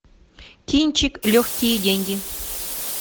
кинчик легкие деньги